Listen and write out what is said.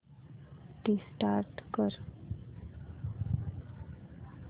restart कर